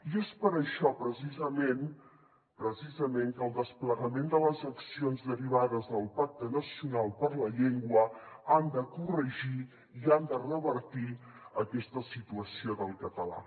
i és per això precisament precisament que el desplegament de les accions derivades del pacte nacional per la llengua ha de corregir i ha de revertir aquesta situació del català